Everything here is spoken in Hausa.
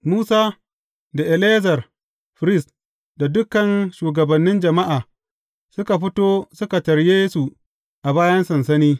Musa, da Eleyazar firist da dukan shugabannin jama’a, suka fito suka tarye su a bayan sansani.